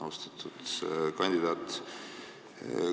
Austatud kandidaat!